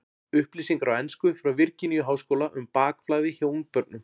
Upplýsingar á ensku frá Virginíu-háskóla um bakflæði hjá ungbörnum.